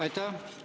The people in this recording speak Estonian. Aitäh!